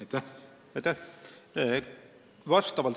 Aitäh!